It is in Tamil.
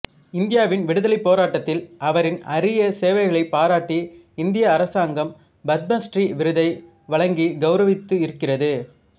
இந்தியாவின் விடுதலைப் போராட்டத்தில் அவரின் அரிய சேவைகளைப் பாராட்டி இந்திய அரசாங்கம் பத்மஸ்ரீ விருதை வழங்கிக் கௌரவித்து இருக்கிறது